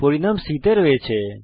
পরিণাম c তে সংরক্ষিত হয়েছে